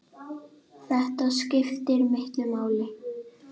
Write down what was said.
Þetta skiptir miklu máli.